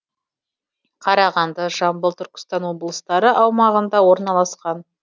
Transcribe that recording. қарағанды жамбыл түркістан облыстары аумағында орналасқан